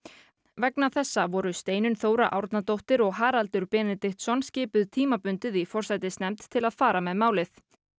vegna þessa voru Steinunn Þóra Árnadóttir og Haraldur Benediktsson skipuð tímabundið í forsætisnefnd til að fara með málið